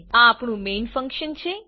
આ આપણું main function છે